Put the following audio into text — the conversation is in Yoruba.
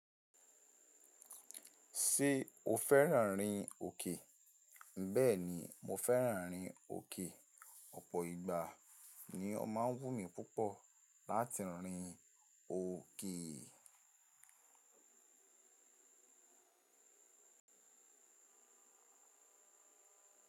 Ṣé o fẹ́ràn rin òkè? Bẹ́ẹ̀ni mo fẹ́ràn rin òkè, ọ̀pọ̀ ìgbà ni ó máa ń wùn mí púpọ̀ láti rin òkè.